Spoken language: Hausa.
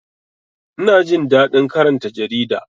Ina jin daɗin karanta jarida